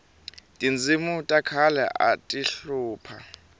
tindzimi ta khale ati hlupha